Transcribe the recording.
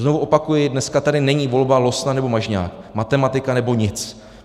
Znovu opakuji, dneska tady není volba Losna, nebo Mažňák, matematika, nebo nic.